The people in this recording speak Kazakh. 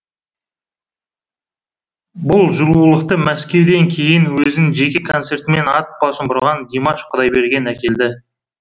бұл жылулықты мәскеуден кейін өзінің жеке концертімен ат басын бұрған димаш құдайберген әкелді